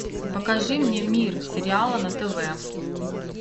покажи мне мир сериала на тв